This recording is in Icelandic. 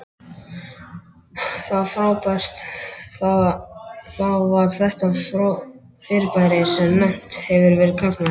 Það var þetta fyrirbæri sem nefnt hefur verið karlmaður.